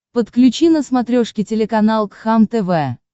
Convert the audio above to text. подключи на смотрешке телеканал кхлм тв